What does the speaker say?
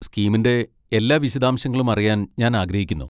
സ്കീമിന്റെ എല്ലാ വിശദാംശങ്ങളും അറിയാൻ ഞാൻ ആഗ്രഹിക്കുന്നു.